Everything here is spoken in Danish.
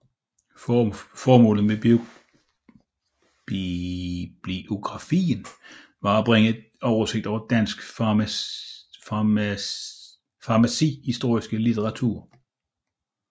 Formålet med bibliografien var at bringe en oversigt over dansk farmacihistorisk litteratur